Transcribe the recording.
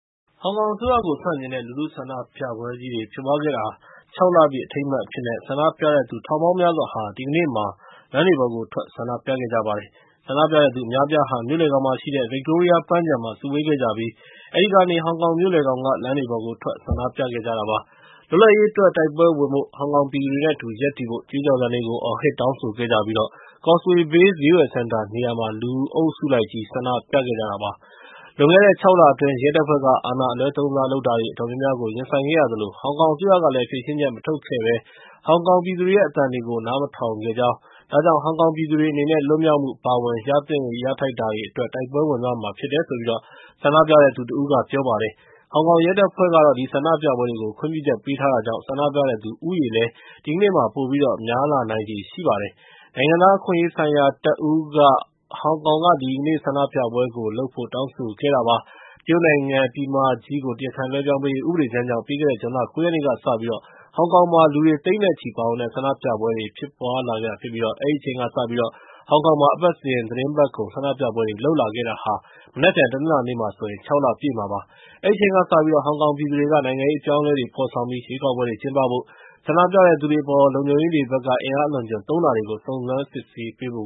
ဟောင်ကောင်အစိုးရကို ဆန့်ကျင်တဲ့ လူထုဆန္ဒပြပွဲကြီးတွေ ဖြစ်ပွားခဲ့တာ ၆ လပြည့် အထိမ်းအမှတ်အဖြစ်နဲ့ ဆန္ဒပြတဲ့သူ ထောင်ပေါင်းများစွာဟာ ဒီကနေ့မှာ လမ်းတွေပေါ်ကိုထွက် ဆန္ဒပြခဲ့ကြပါတယ်။ ဆန္ဒပြတဲ့သူ အများအပြားဟာ မြို့လယ်ခေါင်မှာရှိတဲ့ ဗစ်တိုးရီးယားပန်းခြံမှာ စုဝေးခဲ့ကြပြီး အဲဒီကနေ ဟောင်ကောင်မြို့လယ်ခေါင်က လမ်းတွေပေါ်ကိုထွက် ဆန္ဒပြခဲ့ကြတာ ဖြစ်ပါတယ်။ လွတ်လပ်ရေးအတွက် တိုက်ပွဲဝင်ဖို့နဲ့ ဟောင်ကောင်ပြည်သူတွေနဲ့အတူ ရပ်တည်ဖို့ ကြွေးကြော်သံတွေကို အော်ဟစ်တောင်းဆိုခဲ့ကြပြီး Causeway Bay ဈေးဝယ်စင်တာနေရာမှာ လူအုပ်စုလိုက်ကြီး ဆန္ဒပြခဲ့ကြတာ ဖြစ်ပါတယ်။ လွန်ခဲ့တဲ့ ၆ လအတွင်း ရဲတပ်ဖွဲ့က အာဏာအလွဲသုံးစား လုပ်တာတွေ အတော်များများကို ရင်ဆိုင်ခဲ့ရသလို ဟောင်ကောင်အစိုးရကလည်း ဖြေရှင်းချက် မထုတ်ခဲ့ဘဲ ဟောင်ကောင်ပြည်သူတွေရဲ့ အသံတွေကို နားမထောင်ခဲ့ပါဘူး။ ဒါကြောင့် ဟောင်ကောင်ပြည်သူတွေ အနေနဲ့ လွတ်မြောက်မှု အပါအဝင် ရသင့်တာတွေအတွက် တိုက်ပွဲဝင်သွားရမှာ ဖြစ်တယ်လို့ ဆန္ဒပြတဲ့သူတဦးက ပြောပါတယ်။ ဟောင်ကောင်ရဲတပ်ဖွဲ့ကတော့ ဒီဆန္ဒပြပွဲတွေကို ခွင့်ပြုချက် ပေးထားတာကြောင့် ဆန္ဒပြတဲ့လူဦးရေလည်း ပိုပြီးတော့ များလာနိုင်ချေရှိပါတယ်။ နိုင်ငံသားအခွင့်အရေးဆိုင်ရာ တပ်ဦးက ဟောင်ကောင်က ဒီကနေ့ ဆန္ဒပြပွဲကိုလုပ်ဖို့ တောင်းဆိုခဲ့တာ ဖြစ်ပါတယ်။ တရုတ်နိုင်ငံ ပြည်မကြီးကို တရားခံလွှဲပြောင်းပေးရေး ဥပဒေကြမ်းကြောင့် ပြီးခဲ့တဲ့ ဇွန်လ ၉ ရက်နေ့ကစပြီး ဟောင်ကောင်မှာ လူတွေသိန်းနဲ့ချီ ပါဝင်တဲ့ ဆန္ဒပြပွဲတွေ ဖြစ်လာခဲ့တာဖြစ်ပြီး အဲဒီအချိန်ကစလို့ ဟောင်ကောင်မှာ အပတ်စဉ် သီတင်းပတ်ကုန် ဆန္ဒပြပွဲတွေ လုပ်လာခဲ့တာ တနင်္လာနေ့မှာ ၆ လပြည့်မှာဖြစ်ပါတယ်။ အဲဒီအချိန်ကစပြီး ဟောင်ကောင်ပြည်သူတွေက နိုင်ငံရေးအပြောင်းအလဲတွေ ဖော်ဆောင်ပြီး ရွေးကောက်ပွဲတွေ ကျင်းပဖို့၊ ဆန္ဒပြတဲ့သူတွေအပေါ် လုံခြုံရေးတွေဘက်က အင်အားအလွန်အကျွံ သုံးတာတွေကို စုံစမ်းစစ်ဆေးဖို